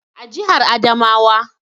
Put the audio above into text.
A jihar Adamawa